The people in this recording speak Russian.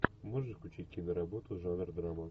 можешь включить киноработу жанр драма